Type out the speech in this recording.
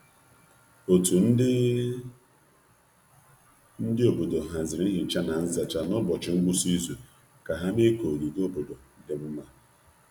Otu ndi ndi obodo haziri nhicha na nzacha n’ụbọchị ngwụsị izu ka ha mee ka ogige obodo dị mma.